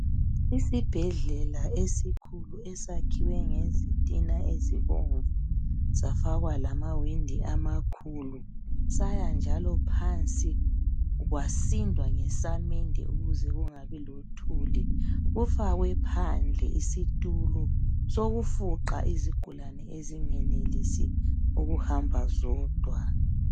Isibhedlela esikhulu esakhiwe ngezitina ezibomvu, safakwa lamawindi amakhulu, saya njalo phansi kwasindwa ngesamende ukuze kungabi lothuli. Kufakwe phandle isitulo sokufuqa izigulani ezingenelisi ukuhamba zodwa.